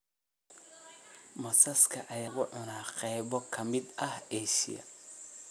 Masaska ayaa lagu cunaa qaybo ka mid ah Aasiya